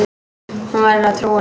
Hún verður að trúa honum.